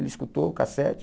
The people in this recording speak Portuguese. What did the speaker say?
Ele escutou o cassete.